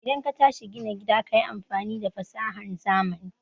idan katashi gina gida kayi amfani da fasahan zamani